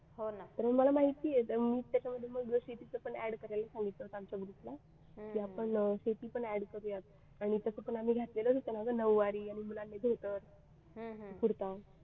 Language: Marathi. आणि मला माहिती आहे मी त्याच्यामध्ये मग जशी शेती पण add करायला सांगितलं होतं आमच्या group ला की आपण शेती पण add करूया आणि तस पण आम्ही घातलेलाच होतं ना ग नऊवारी आणि मुलांनी धोतर कुर्ता